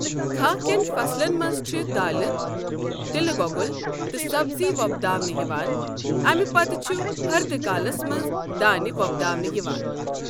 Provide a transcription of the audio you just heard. کَھہہ کٮ۪ن فصلَن منٛز چھِ دَالہٕ، تِلہٕ گۄگُل تہٕ سبزی وۄپداونہٕ یِوان، اَمہِ پتہٕ چھُ ہَردٕ کالَس منٛز دَانہ ِوۄپداونہٕ یِوان۔